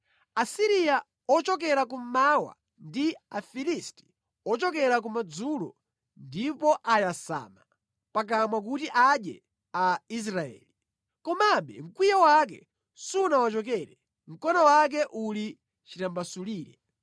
Asiriya ochokera kummawa ndi Afilisti ochokera kumadzulo ndipo ayasama pakamwa kuti adye a Israeli. Komabe, mkwiyo wake sunawachokere, mkono wake uli chitambasulire.